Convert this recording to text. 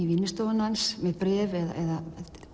vinnustofuna hans með bréf eða